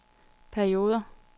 perioder